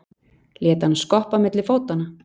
Lét hann skoppa milli fótanna.